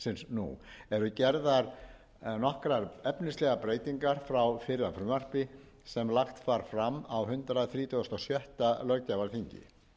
nú eru gerðar nokkrar efnislegar breytingar frá fyrra frumvarpi sem var lagt var fram á hundrað þrítugasta og sjötta löggjafarþingi